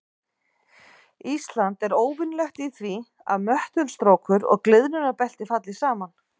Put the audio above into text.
Ísland er óvenjulegt í því að möttulstrókur og gliðnunarbelti falli saman.